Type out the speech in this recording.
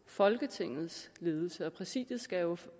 folketingets ledelse og præsidiet skal jo